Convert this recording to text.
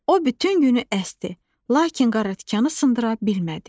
O bütün günü əsdi, lakin qaratikanı sındıra bilmədi.